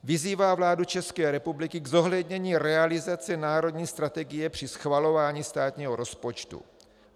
Vyzývá vládu České republiky k zohlednění realizace národní strategie při schvalování státního rozpočtu.